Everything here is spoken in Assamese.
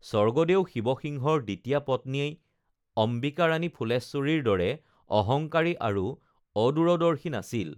স্বৰ্গদেউ শিৱসিংহৰ দ্বিতীয়া পত্নী অম্বিকা ৰাণী ফুলেশ্বৰীৰ দৰে অহঙ্কাৰী আৰু অদূৰদৰ্শী নাছিল